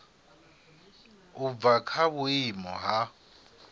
u bva kha vhuimo ha